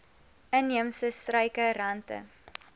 inheemse struike rante